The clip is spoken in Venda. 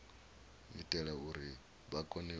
itela uri vha kone u